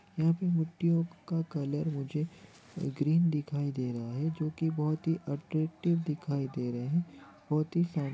यहाँ पे मिटीओ का कलर मुझे ग्रीन दिखाई दे रहा है जो कि बहुत ही अट्रैक्टिव दिखाई दे रहे हैं बहुत ही--